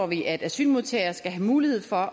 vi at asylmodtagere skal have mulighed for at